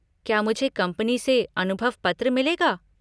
क्या मुझे कंपनी से अनुभव पत्र मिलेगा?